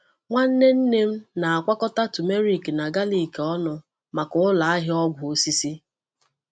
Nwanne nne m na-akwọkọta turmeric na galik ọnụ maka ụlọ ahịa ọgwụ osisi.